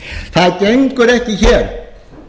það gengur ekki hér